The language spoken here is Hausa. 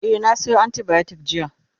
e na Sayo antibiotics jiya